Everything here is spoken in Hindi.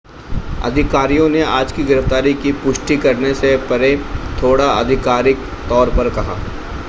अधिकारियों ने आज की गिरफ्तारी की पुष्टि करने से परे थोडा आधिकारिक तौर पर कहा